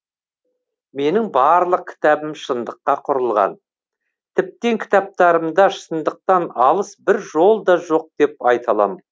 менің барлық кітабым шындыққа құрылған тіптен кітаптарымда шындықтан алыс бір жол да жоқ деп айта алам